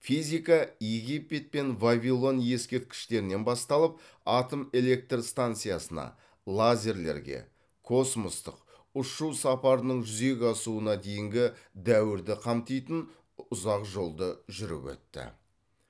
физика египет пен вавилон ескерткіштерінен бастап атом электр станциясына лазерлерге космостық ұшу сапарының жүзеге асуына дейінгі дәуірді қамтитын ұзақ жолды жүріп өтті